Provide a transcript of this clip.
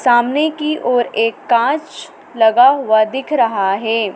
सामने की ओर एक कांच लगा हुआ दिख रहा है।